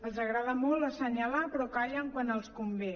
els agrada molt assenyalar però callen quan els convé